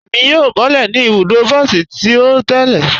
Ẹ̀mi yóò bọ̀lẹ́ ní ibùdó bọsí tì o tẹ̀lẹ̀.